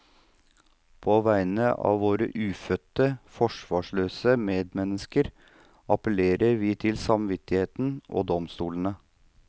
På vegne av våre ufødte, forsvarsløse medmennesker appellerer vi til samvittigheten og domstolene.